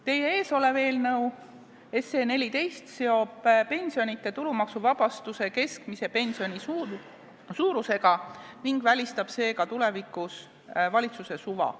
Teie ees olev eelnõu 14 seob pensionite tulumaksuvabastuse keskmise pensioni suurusega ning välistab seega tulevikus valitsuse suva.